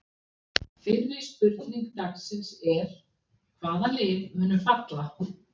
Fyrri spurning dagsins er: Hvaða lið munu falla?